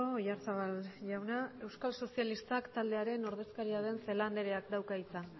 oyarzabal jauna euskal sozialistak taldearen ordezkaria den celaá andreak dauka hitza